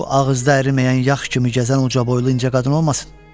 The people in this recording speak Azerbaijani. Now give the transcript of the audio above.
Bu ağızda əriməyən yax kimi gəzən ucaboylu incə qadın olmasın?